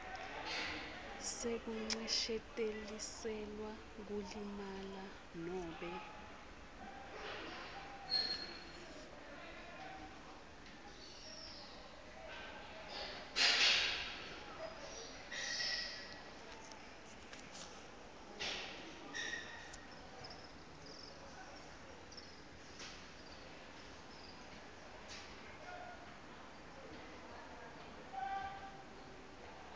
sekuncesheteliselwa kulimala nobe